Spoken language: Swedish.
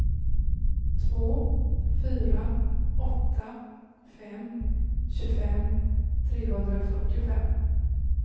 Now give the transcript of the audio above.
två fyra åtta fem tjugofem trehundrafyrtiofem